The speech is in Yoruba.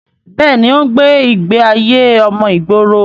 bẹ́ẹ̀ni, ó ń gbé ìgbé ayé ọmọ ìgboro